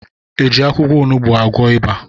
Ejị akwụkwọ onugbu agwọ ịba?